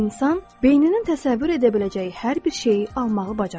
İnsan beyninə təsəvvür edə biləcəyi hər bir şeyi almağı bacarır.